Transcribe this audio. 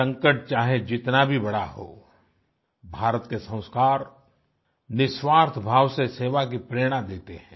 संकट चाहे जितना भी बड़ा हो भारत के संस्कार निस्वार्थ भाव से सेवा की प्रेरणा देते हैं